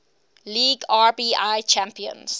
league rbi champions